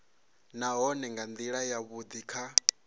nahone nga ndila yavhudi kha